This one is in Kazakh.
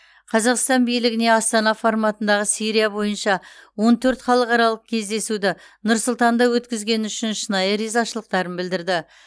қазақстан билігіне астана форматындағы сирия бойынша он төрт халықаралық кездесуді нұр сұлтанда өткізгені үшін шынайы ризашылықтарын білдірді